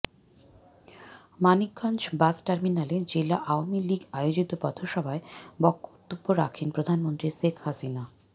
মানিকগঞ্জ বাসটার্মিনালে জেলা আওয়ামী লীগ আয়োজিত পথসভায় বক্তব্য রাখেন প্রধানমন্ত্রী শেখ হাসিনা